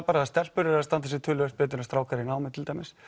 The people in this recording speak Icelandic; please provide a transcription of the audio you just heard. bara að stelpur eru að standa sig töluvert betur en strákar í námi til dæmis